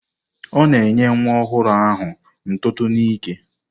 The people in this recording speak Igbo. Ọ na-enye nwa ọhụrụ ahụ ntụtụ n'ike.